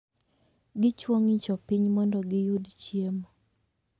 Gichwo ng'icho piny mondo giyud chiemo.